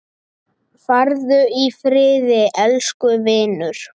Farðu í friði, elsku vinur.